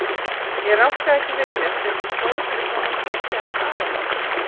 Ég rankaði ekki við mér fyrr en ég stóð fyrir framan húsið hans afa míns.